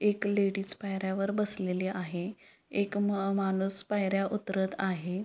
एक लेडीज पायऱ्यावर बसलेली आहे एक माणूस पायऱ्या उतरत आहे.